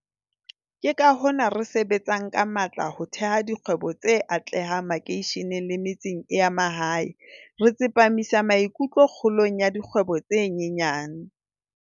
Ke ka hona re sebetsang ka matla ho theha dikgwebo tse atlehang makeisheneng le metseng ya mahae, re tsepa misang maikutlo kgolong ya dikgwebo tse nyenyane.